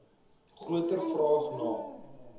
groter vraag na